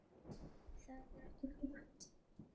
Það er ekki frétt.